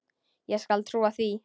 Ég skal trúa því.